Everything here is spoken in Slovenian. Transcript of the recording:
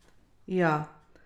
Ja?